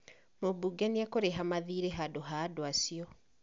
Mũmbunge nĩekũrĩha mathiirĩ handũ ha andũ acio